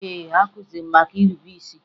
Ee, a kụziri anyị maka nrube isi